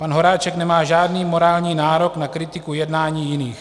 Pan Horáček nemá žádný morální nárok na kritiku jednání jiných.